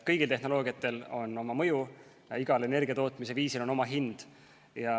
Igal tehnoloogial on oma mõju ja igal energiatootmise viisil on oma hind.